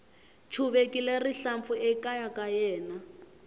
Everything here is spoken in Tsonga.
chuvekile rihlampfu ekaya ka yena